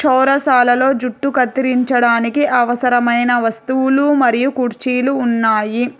చౌరసాలలో జుట్టు కత్తిరించడానికి అవసరమైన వస్తువులు మరియు కుర్చీలు ఉన్నాయి.